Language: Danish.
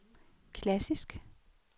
klassisk